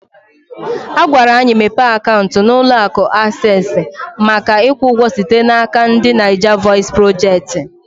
Agwara anyị mepe akaụntụ na ụlọ akụ Aksesị maka ikwu ụgwọ site n'aka ndị Naija vọis projekti